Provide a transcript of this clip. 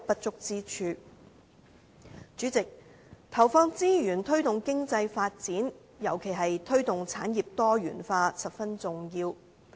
主席，投放資源推動經濟發展，尤其是推動產業多元化，是十分重要的。